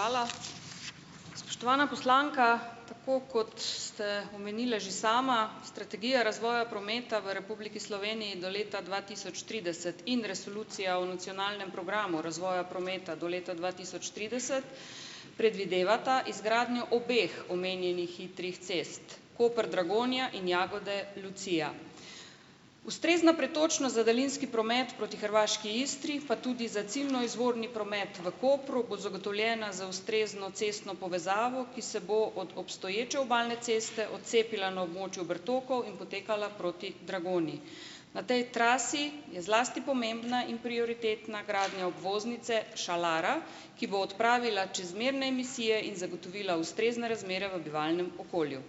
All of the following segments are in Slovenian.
Najlepša hvala. Spoštovana poslanka, tako kot ste omenila že sama, strategija razvoja prometa v Republiki Sloveniji do leta dva tisoč trideset in resolucija o nacionalnem programu razvoja prometa do leta dva tisoč trideset predvidevata izgradnjo obeh omenjenih hitrih cest, Koper-Dragonja in Jagodje-Lucija. Ustrezna pretočnost za daljinski promet proti hrvaški Istri pa tudi za ciljno izvorni promet v Kopru bo zagotovljena z ustrezno cestno povezavo, ki se bo od obstoječe obalne ceste odcepila na območju Bertokov in potekala proti Dragonji. Na tej trasi je zlasti pomembna in prioritetna gradnja obvoznice Šalara, ki bo odpravila čezmerne emisije in zagotovila ustrezne razmere v bivalnem okolju.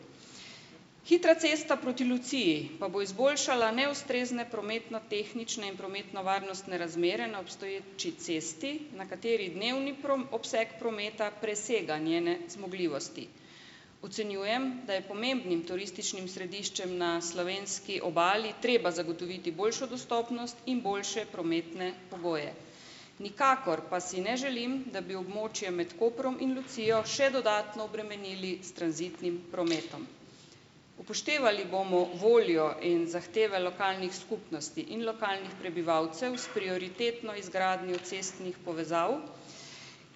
Hitra cesta proti Luciji pa bo izboljšala neustrezne prometnotehnične in prometnovarnostne razmere na obstoječi cesti, na kateri dnevni obseg prometa presega njene zmogljivosti. Ocenjujem, da je pomembnim turističnim središčem na slovenski obali treba zagotoviti boljšo dostopnost in boljše prometne pogoje. Nikakor pa si ne želim, da bi območje med Koprom in Lucijo še dodatno obremenili s tranzitnim prometom. Upoštevali bomo voljo in zahteve lokalnih skupnosti in lokalnih prebivalcev s prioritetno izgradnjo cestnih povezav,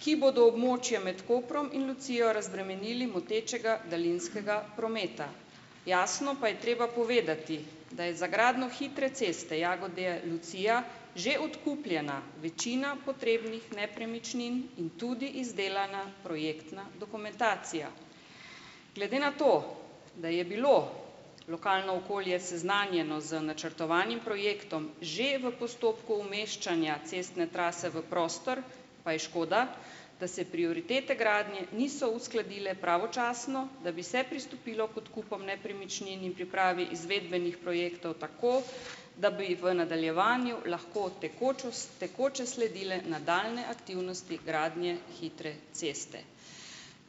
ki bodo območje med Koprom in Lucijo razbremenili motečega daljinskega prometa. Jasno pa je treba povedati, da je za gradnjo hitre ceste Jagodje-Lucija, že odkupljena večina potrebnih nepremičnin in tudi izdelana projektna dokumentacija. Glede na to, da je bilo lokalno okolje seznanjeno z načrtovanim projektom že v postopku umeščanja cestne trase v prostor, pa je škoda, da se prioritete gradnje niso uskladile pravočasno, da bi se pristopilo k odkupom nepremičnin in pripravi izvedbenih projektov tako, da bi v nadaljevanju lahko tekoče sledile nadaljnje aktivnosti gradnje hitre ceste.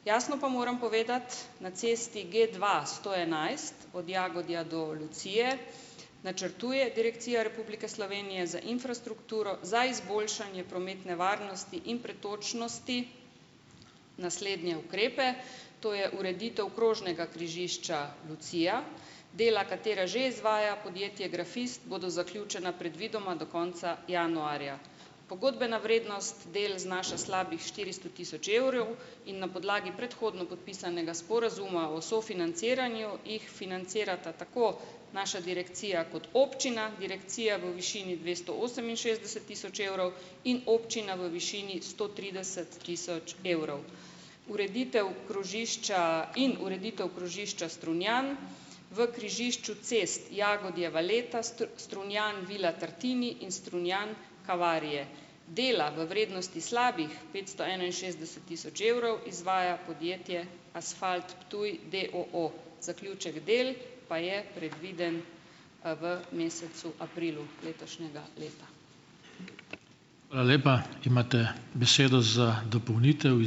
Jasno pa moram povedati, na cesti G-dva-sto enajst, od Jagodja do Lucije, načrtuje direkcija Republike Slovenije za infrastrukturo za izboljšanje prometne varnosti in pretočnosti, naslednje ukrepe: to je, ureditev krožnega križišča Lucija - dela, katera že izvaja podjetje Grafist, bodo zaključena predvidoma do konca januarja. Pogodbena vrednost del znaša slabih štiristo tisoč evrov in na podlagi predhodno podpisanega sporazuma o sofinanciranju, jih financirata tako naša direkcija kot občina - direkcija v višini dvesto oseminšestdeset tisoč evrov in občina v višini sto trideset tisoč evrov ureditev krožišča in ureditev krožišča Strunjan, v križišču cest Jagodje-Valeta, Strunjan-Vila Tartini in Strunjan-Kavarije. Dela v vrednosti slabih petsto enainšestdeset tisoč evrov izvaja podjetje Asfalt Ptuj, d. o. o., zaključek del pa je predviden, v mesecu aprilu letošnjega leta.